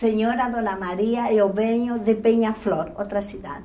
Senhora Dona Maria, eu venho de Peñaflor, outra cidade.